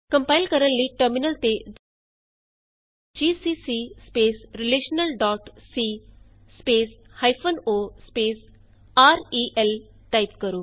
compile ਕਰਨ ਲਈ terminal ਤੇ ਜੀਸੀਸੀ relationalਸੀ o ਰੇਲ ਟਾਈਪ ਕਰੋ